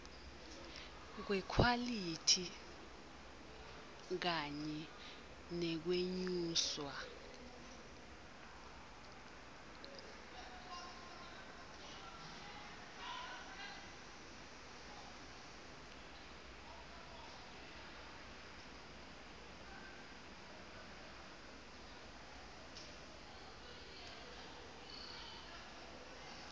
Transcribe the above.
kwekhwalithi kanye nekwenyuswa